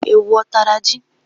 Ewu ọ tara ji?